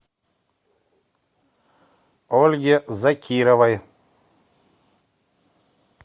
ольге закировой